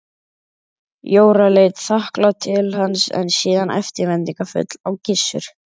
Jóra leit þakklát til hans en síðan eftirvæntingarfull á Gissur.